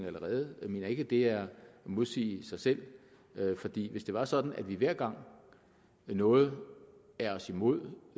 allerede jeg mener ikke at det er at modsige sig selv fordi hvis det var sådan at vi hver gang noget er os imod